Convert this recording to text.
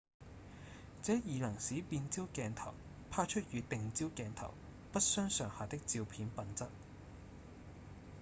這已能使變焦鏡頭拍出與定焦鏡頭不相上下的照片品質